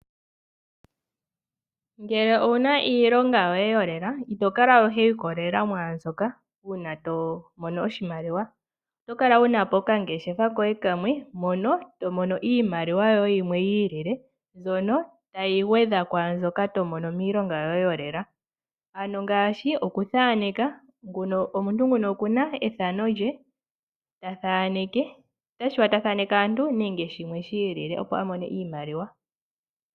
Ngele owu na iilonga yoye yolela ito kala ihe wi ikolelela mwaa mbyoka uuna to mono oshimaliwa. Oto kala wu na po okangeshefa koye kamwe mono to mono iimaliwa yoye yimwe yi ilile mbyono tayi gwedha pwaa mbyoka to mono miilonga yoye yolela ngaashi okuthaneka. Nguno omuntu oku na ethano lye ta thaneke. Otashi vulika ta thaneke aantu nenge shimwe shi ilile, opo a mone iimaliwa.